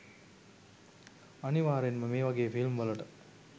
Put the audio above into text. අනිවාරෙන්ම මේ වගේ ෆිල්ම් වලට